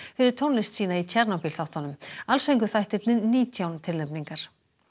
fyrir tónlist sína í þáttunum alls fengu þættirnir nítján tilnefningar